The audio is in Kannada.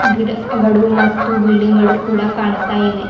ಗಿಡಗಳು ಮತ್ತು ಬಿಲ್ಡಿಂಗ್ ಗಳು ಕಾಣ್ತಾ ಇವೆ.